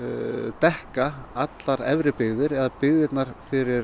dekka allar efri byggðir eða byggðirnar fyrir